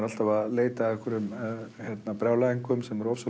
alltaf að leita að brjálæðingum sem eru